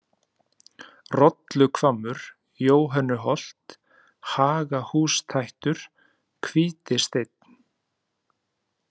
Rolluhvammur, Jóhönnuholt, Hagahústættur, Hvítisteinn